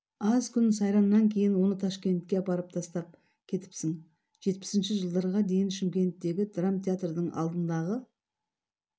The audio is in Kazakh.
аз күн сайраннан кейін оны ташкентке апарып тастап кетіптң жетпісінші жылдарға дейін шымкенттегі драма театрдың алдындағы